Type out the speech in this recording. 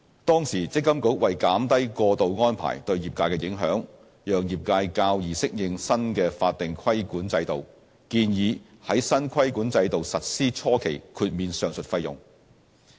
當時，積金局為減低過渡安排對業界的影響，讓業界較易適應新的法定規管制度，建議在新規管制度實施初期豁免上述費用。